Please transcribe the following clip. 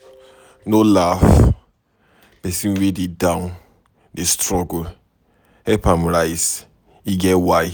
No laugh pesin wey dey down dey struggle, help am rise e get why